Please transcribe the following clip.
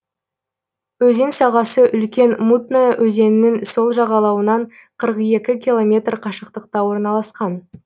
өзен сағасы үлкен мутная өзенінің сол жағалауынан қырық екі километр қашықтықта орналасқан